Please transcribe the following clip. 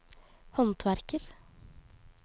håndverker